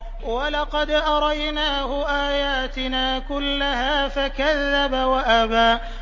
وَلَقَدْ أَرَيْنَاهُ آيَاتِنَا كُلَّهَا فَكَذَّبَ وَأَبَىٰ